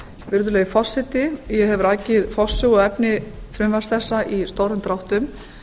virðulegi forseti ég hef rakið forsögu og efni frumvarps þessa í stórum dráttum